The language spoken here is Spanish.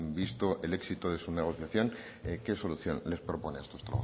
visto el éxito de su negociación qué solución les propone a estos